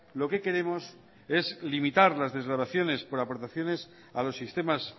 lo que queremos es limitar las desgravaciones por aportaciones a los sistemas